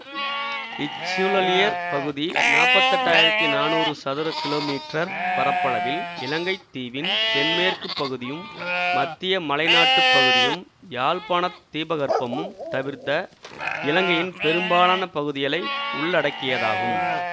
இச்சூழலியற் பகுதி நாற்பத்தி எட்டாயிரத்தி நானூறு சதுர கிலோமீற்றர் பரப்பளவில் இலங்கை தீவின் தென்மேற்கு பகுதியும் மத்திய மலைநாட்டுப் பகுதியும் யாழ்ப்பாண தீபகற்பமும் தவிர்த்த இலங்கையின் பெரும்பாலான பகுதிகளை உள்ளடக்கியதாகும்